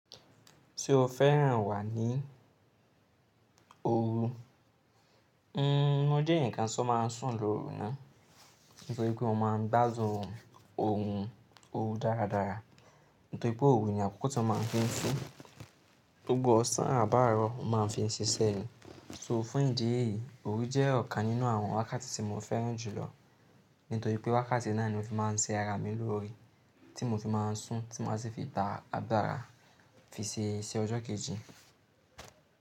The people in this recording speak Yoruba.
Tí o fẹ́ràn wà ní òru, n n mó jẹ́ eeyan kan tí ó máa ń sùn lóru náà. Nítorí pé mo máa ń gbádun òrun òru dáradára. Nítorí pé òru ní àkókò tí wọ́n má ń fi n sún. Gbogbo ọ̀sán àbáárọ̀ mo máa ń fi ṣe iṣẹ́ ni. So fún ìdí èyí, òru jẹ́ ọ̀kan nínú àwọn wákàtí tí mo fẹ́ràn jùlọ. Nítorí pé wákàtí náà ni mo fi máa ń ṣe ara mi lóore, tí mo fi máa ń sùn, tí maa si fi gba àgbàrá fi ṣe iṣẹ́ ọjọ́ kejì.